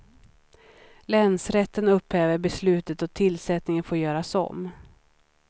Länsrätten upphäver beslutet och tillsättningen får göras om.